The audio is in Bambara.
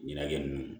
Ɲɛnajɛ nunnu